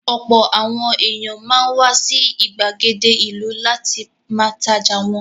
Ọ̀pọ̀ àwọn èèyàn máa ń wá sí ìgbàgede ìlú láti ma tajà wọn